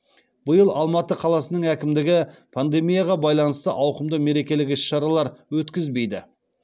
биыл алматы қаласының әкімдігі пандемияға байланысты ауқымды мерекелік іс шаралар өткізбейді